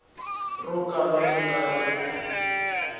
ro kala ri nga ri